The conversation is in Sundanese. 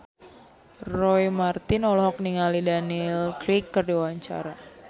Roy Marten olohok ningali Daniel Craig keur diwawancara